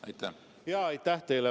Aitäh teile!